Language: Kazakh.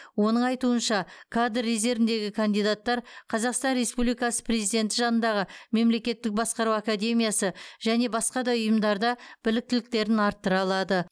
оның айтуынша кадр резервіндегі кандидаттар қазақстан республикасы президенті жанындағы мемлекеттік басқару академиясы және басқа да ұйымдарда біліктіліктерін арттыра алады